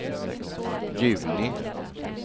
juni